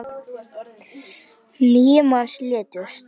Níu manns létust.